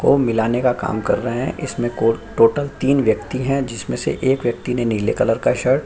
को मिलने का काम कर रहे हैं इसमे को टोटल तीन व्यक्ति हैं जिसमें से एक व्यक्ति ने नीले कलर का शर्ट --